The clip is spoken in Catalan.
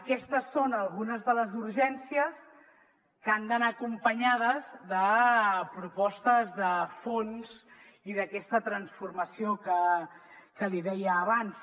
aquestes són algunes de les urgències que han d’anar acompanyades de propostes de fons i d’aquesta transformació que li deia abans